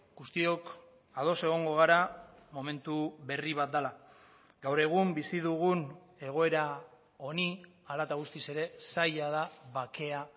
guztiok ados egongo gara momentu berri bat dela gaur egun bizi dugun egoera honi hala eta guztiz ere zaila da bakea